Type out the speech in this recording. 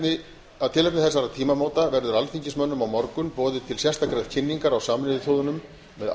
við þúsaldarmarkmiðin vegna þessara tímamóta verður alþingismönnum boðið á morgun til sérstakrar kynningar á sameinuðu þjóðunum með